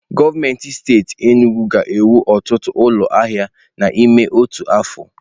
Gọọmenti steeti Enugwu ga-ewu ọtụtụ ụlọ ahịa n'ime otu afọ.